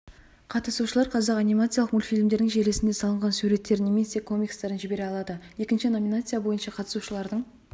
қатысушылар қазақ анимациялық мультфильмдерінің желісінде салынған суреттерін немесе комикстерін жібере алады екінші номинация бойынша қатысушылардың